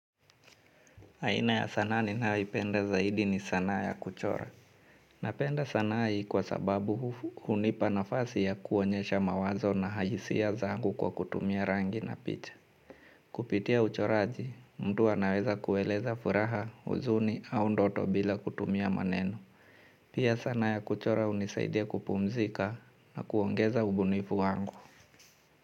Aina ya sanaa ninayoipenda zaidi ni sanaa ya kuchora. Napenda sanaa hii kwa sababu hunipa nafasi ya kuonyesha mawazo na ha hisia zangu kwa kutumia rangi na picha. Kupitia uchoraji, mtu anaweza kueleza furaha huzuni au ndoto bila kutumia maneno. Pia sanaa ya kuchora unisaidia kupumzika na kuongeza ubunifu wangu.